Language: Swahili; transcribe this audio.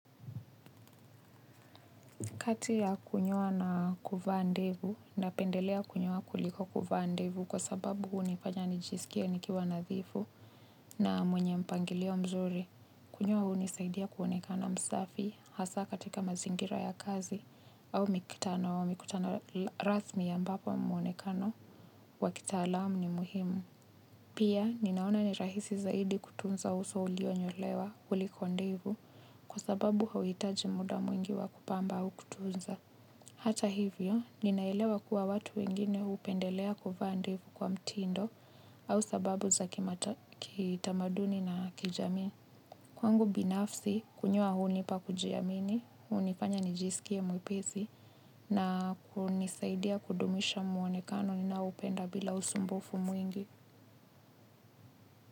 Kati ya kunyoa na kuvaa ndevu, napendelea kunyoa kuliko kuvaa ndevu kwa sababu hunifanya nijisikie nikiwa nadhifu na mwenye mpangilio mzuri. Kunyoa hunisaidia kuonekana msafi hasa katika mazingira ya kazi au mikutano wa mikutano rasmi ambapo muonekano wa kitaalamu ni muhimu. Pia ninaona ni rahisi zaidi kutunza uso ulio nyolewa kuliko ndevu kwa sababu hauhitaji muda mwingi wa kupamba au kutunza. Hata hivyo, ninaelewa kuwa watu wengine hupendelea kuvaa ndevu kwa mtindo au sababu za kitamaduni na kijami. Kwangu binafsi, kunyoa hunipa kujiamini, hunifanya nijisikie mwepesi na hunisaidia kudumisha muonekano ninaupenda bila usumbufu mwingi.